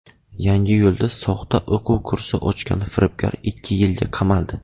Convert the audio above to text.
Yangiyo‘lda soxta o‘quv kursi ochgan firibgar ikki yilga qamaldi.